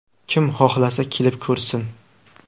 Kim xohlasa, kelib ko‘rsin.